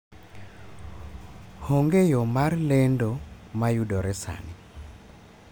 Onge yo mar lendo ma yudore sani